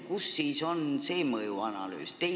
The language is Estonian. Kus on see mõjuanalüüs?